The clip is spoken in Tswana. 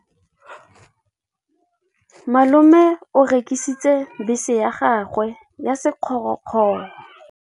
Malome o rekisitse bese ya gagwe ya sekgorokgoro.